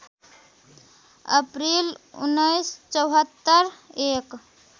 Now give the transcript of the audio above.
April १९७४ एक